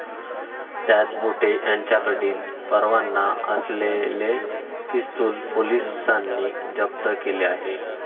त्यात बोठे याच्याकडील परवाना असलेले पिस्तूल पोलिसांनी जप्त केले आहे.